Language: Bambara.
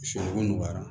O nɔgɔyara